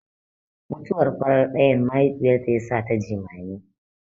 Mutuwar farar ɗayan mahaifiyarta yasata jimami.